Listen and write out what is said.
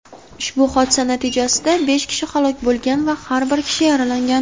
Ushbu hodisa natijasida besh kishi halok bo‘lgan va bir kishi yaralangan.